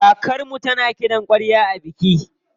Kakarmu tana kiɗan ƙwarya a biki.